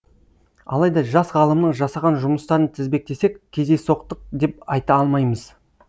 алайда жас ғалымның жасаған жұмыстарын тізбектесек кездейсоқтық деп айта алмаймыз